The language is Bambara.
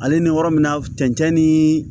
Ale ni yɔrɔ min na cɛncɛn ni